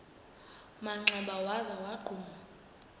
manxeba waza wagquma